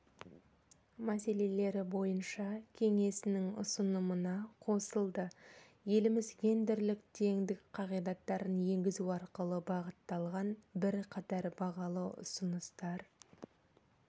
мәселелері бойынша кеңесінің ұсынымына қосылды еліміз гендерлік теңдік қағидаттарын енгізу арқылы бағытталған бірқатар бағалы ұсыныстар